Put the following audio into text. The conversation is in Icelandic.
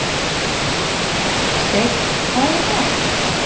Steinn, hvað er í matinn?